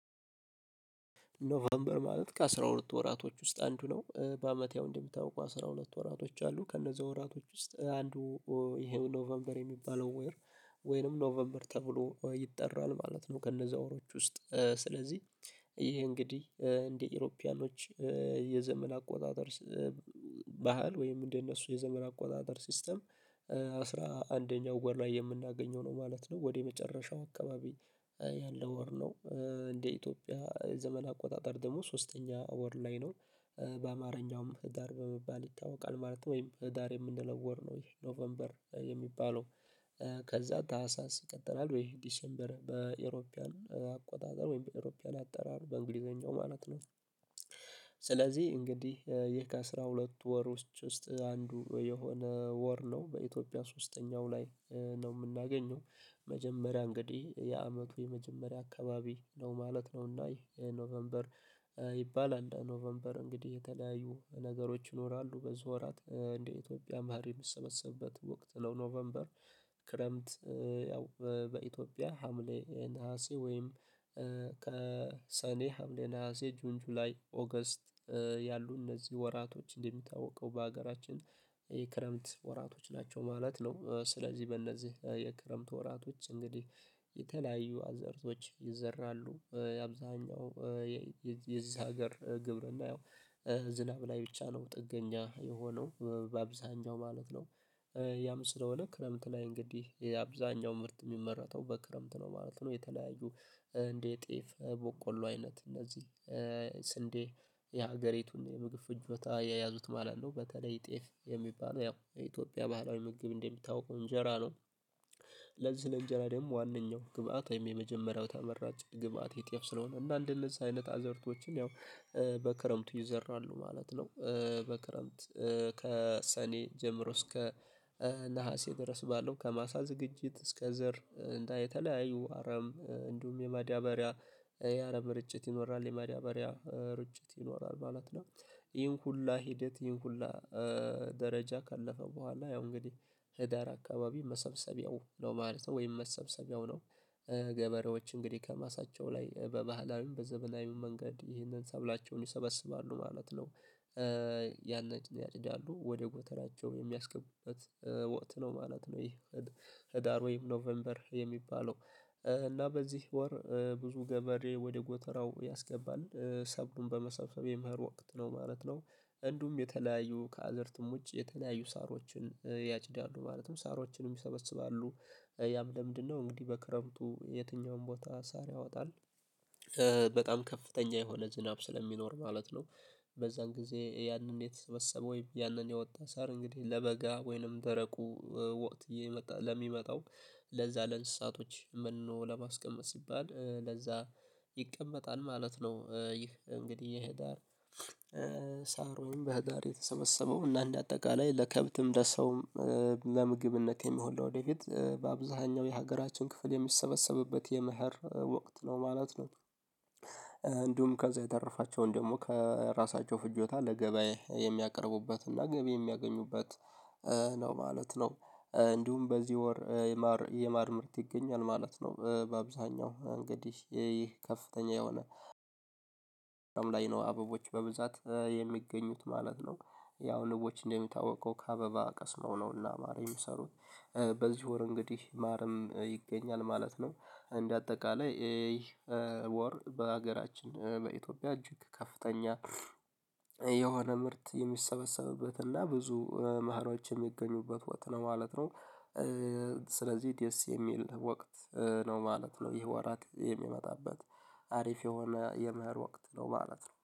ኖቨምበር ማለት ከአስራ ሁለቱ ወራቶች ውስጥ አንዱ ነው በአመት ያው እንደሚታወቀው አስራ ሁለት ወራቶች አሉ ከነዛ ወራቶች ውስጥ አንዱ ይሄው ኖቨምበር የሚባለው ወር ወይንም ኖቨምበር ተብሎ ይጠራል ማለት ነው። ከነዛ ወሮች ውስጥ ስለዚህ ይሄ እንግዲህ እንደ ኢሮፒያኖች የዘመን አቆጣጠር ስ ባህል ወይም እንደነሱ የዘመን አቆጣጠር ሲስተም አስራ አንደኛው ወር ላይ የምናገኘው ነው ማለት ነው። ወደ የመጨረሻው አካባቢ ያለ ወር ነው። እንደ ኢትዮጵያ ዘመን አቆጣጠር ደግሞ ሶስተኛ ወር ላይ ነው። በአማርኛውም ህዳር በመባል ይታወቃል ማለት ነው ወይም ህዳር የምንለው ወር ነው። ይሄ ኖቬምበር የሚባለው ከዛ ታህሳስ ይቀጥላል ወይም ዲሴምበር በአውሮፓውያን አቆጣጠር ወይም በአውሮፓውያን አጠራር በእንግሊዝኛው ማለት ነው። ስለዚህ እንግዲህ ይህ ከአስራ ሁለት ወር ውስጥ አንዱ የሆነ ወር ነው በኢትዮጵያ ሶስተኛው ላይ ነው። የምናገኘው መጀመሪያ እንግዲህ የአመቱ የመጀመሪያ አካባቢ ነው ማለት ነው። እና ይሄ ኖቨምበር ይባላል ኖቨምበር እንግዲህ የተለያዩ ነገሮች ይኖራሉ በዚህ ወራት እንደ ኢትዮጵያ መኸር የሚሰበሰብበት ወቅት ነው ኖቨምበር። ክረምት ያው በኢትዮጵያ ሀምሌ ነሀሴ ወይም ከሰኔ ሀምሌ ነሀሴ ጁን ጁላይ ኦገስት ያሉ እነዚህ ወራቶች እንደሚታወቀው በሀገራችን የክረምት ወራቶች ናቸው ማለት ነው። ስለዚህ በእነዚህ የክረምት ወራቶች እንግዲህ የተለያዩ አዝርእቶች ይዘራሉ የአብዛኛው የዚ የዛ ሀገር ግብርና ያው ዝናብ ላይ ብቻ ነው ጥገኛ የሆነው በአብዛኛው ማለት ነው። ያም ስለሆነ ክረምት ላይ እንግዲህ አብዛኛው ምርት የሚመረተው በክረምት ነው ማለት ነው። የተለያዩ እንደ ጤፍ በቆሎ አይነት እነዚህ ስንዴ የሀገሬቱን የምግብ ፍጆታ የያዙት ማለት ነው በተለይ ጤፍ የሚባለው ያው የኢትዮጵያ ባህላዊ ምግብ እንደሚታወቀው እንጀራ ነው። ለዚህ ለእንጀራ ደግሞ ዋናው ግብአት የመጀመሪያው ተመራጭ ግብአት ይህ ጤፍ ስለሆነ እና እንደነዚህ አይነት አዝርእቶችን ያው በክረምቱ ይዘራሉ ማለት ነው። በክረምት ከሰኔ ጀምሮ እስከ ነሀሴ ድረስ ባለው ከማሳ ዝግጅት እስከ ዘር እና የተለያዩ አረም እንዲሁም የማዳበሪያ የአረም እርጭት ይኖራል የማዳበሪያ እርጭት ይኖራል ማለት ነው። ይህን ሁሉ ሂደት ይህን ሁሉ ደረጃ ካለፈ በኋላ ያው እንግዲህ ህዳር አካባቢ መሰብሰቢያው ነው ማለት ነው ወይም መሰብሰቢያው ነው። ገበሬዎች እንግዲህ ከማሳቸው ላይ በባህላዊም በዘመናዊም መንገድ ይህንን ሰብላቸውን ይሰበስባሉ ማለት ነው። ያንን ያጭዳሉ ወደ ጎተራቸው የሚያስገቡበት ወቅት ነው ማለት ነው። ይሄ ህዳር ወይም ኖቬምበር የሚባለው። እና በዚህ ወር ብዙ ገበሬ ወደ ጎተራው ያስገባል ሰብሉን በመሰብሰብ የመኸር ወቅት ነው ማለት ነው። እንዲሁም የተለያዩ ከአዝርእትም ውጪ የተለያዩ ሳሮችን ያጭዳሉ ማለትም ሳሮችንም ይሰበስባሉ ያም ለምንድንነው እንግዲህ በክረምቱ የትኛውም ቦታ ሳር ያወጣል በጣም ከፍተኛ የሆነ ዝናብ ስለሚኖር ማለት ነው። በዛን ጊዜ ያንን የተሰበሰበ ወይ ያንን የወጣ ሳር እንግዲህ ለበጋ ወይንም ደረቁ ወቅት እየመጣ ለሚመጣው ለዛ ለእንስሳቶች መኖ ለማስቀመጥ ሲባል ለዛ ይቀመጣል ማለት ነው። ይህ እንግዲህ የህዳር ሳር ወይም በሀገር የተሰበሰበው እና እንደ አጠቃላይ ለከብትም ለሰውም ለምግብነት የሚሆን ለወደፊት በአብዛኛው የሀገራችን ክፍል የሚሰበሰብበት የመኸር ወቅት ነው ማለት ነው። እንዲሁም ከዛ የተረፋቸውን ደግሞ ከራሳቸው ፍጆታ ለገበያ የሚያቀርቡበት እና ገቢ የሚያገኙበት ነው ማለት ነው። እንዲሁም በዚህ ወር የማር የማር ምርት ይገኛል ማለት ነው በአብዛኛው እንግዲህ ይህ ከፍተኛ የሆነ ላይ ነው አበቦች በብዛት የሚገኙት ማለት ነው። ያው ንቦች እንደሚታወቀው ከአበባ ቀስመው ነው እና ማር የሚሰሩት በዚህ ወር እንግዲህ ማርም ይገኛል ማለት ነው። እንደ አጠቃላይ ይህ ወር በሀገራችን በኢትዮጵያ እጅግ ከፍተኛ የሆነ ምርት የሚሰበሰብበት እና ብዙ መኸሮዎች የሚገኙበት ወቅት ነው ማለት ነው። ስለዚህ ደስ የሚል ወቅት ነው ማለት ነው። ይህ ወራት የሚመጣበት አሪፍ የሆነ የመኸር ወቅት ነው ማለት ነው